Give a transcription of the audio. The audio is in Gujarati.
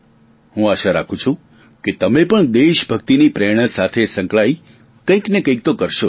હું આશા રાખું છું કે તમે પણ દેશભક્તિની પ્રેરણા સાથે સંકળાયેલું કંઇ ને કંઇ તો કરશો જ